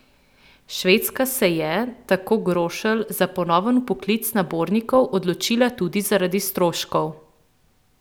Švedska se je, tako Grošelj, za ponoven vpoklic nabornikov odločila tudi zaradi stroškov.